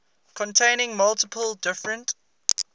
containing multiple different